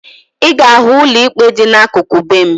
Ị ga-ahụ ụlọ ikpe dị n'akụkụ be m